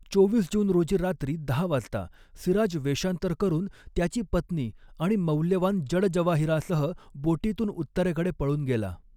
चोवीस जून रोजी रात्री दहा वाजता, सिराज वेषांतर करून त्याची पत्नी आणि मौल्यवान जडजवाहिरासह बोटीतून उत्तरेकडे पळून गेला.